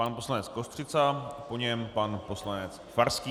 Pan poslanec Kostřica, po něm pan poslanec Farský.